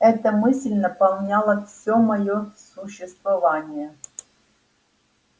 эта мысль наполняла всё моё существование